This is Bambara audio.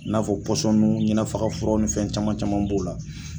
N'a fɔ pɔsɔni ɲina faga furaw ni fɛn caman caman b'o la.